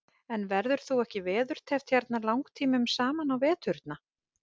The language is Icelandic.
En verður þú ekki veðurteppt hérna langtímum saman á veturna?